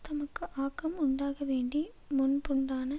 தமக்கு ஆக்கம் உண்டாகவேண்டி முன்புண்டான